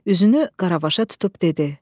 Üzünü Qaravaşa tutub dedi: